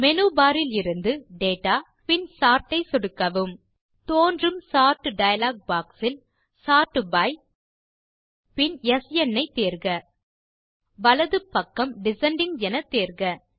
menu bar இலிருந்து data பின் sort ஐ சொடுக்கவும் தோன்றும் சோர்ட் டயலாக் பாக்ஸ் இல் சோர்ட் பை பீல்ட் பின் ஸ்ன் ஐ தேர்க வலது பக்கம் டிசெண்டிங் என தேர்க